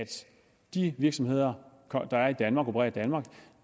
de virksomheder der er i danmark og opererer